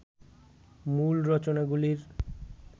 মূল রচনাগুলির